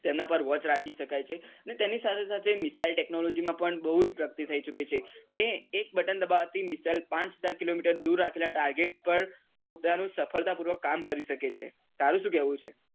તેમના પર watch રાખી શકાય છે ને તેની સાથે સાથે મિસાઈલ technology માં પણ બહુ જ પ્રગતિ થઈ ચુકી છે કે એક button દબાવાથી મિસાઈલ પાંચ સાત kilometer દુર રાખેલા target પર પોતાનું સફળતા પૂર્વક કામ કરી શકે છે તારું શું કેવું છે?